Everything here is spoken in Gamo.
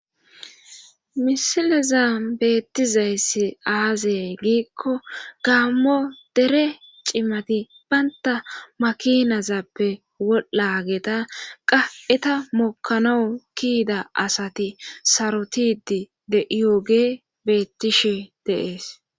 Misileza beettizayssi aazay giikko gaammo dere cimati baynta makinazappe wol7a geeta qa eta mokkano kiyida asati sarotidi de iyooge bettishe deees.